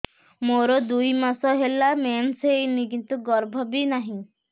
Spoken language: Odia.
ମୋର ଦୁଇ ମାସ ହେଲା ମେନ୍ସ ହେଇନି କିନ୍ତୁ ଗର୍ଭ ବି ନାହିଁ